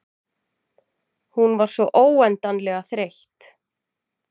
Hún var svo óendanlega þreytt.